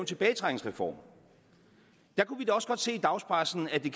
tilbagetrækningsreform kunne vi da også godt se i dagspressen at det